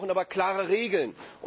Wir brauchen aber klare Regeln